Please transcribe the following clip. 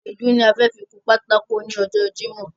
Èédú ni a fẹ fi kun pátákó ní ọjọ́ jímòh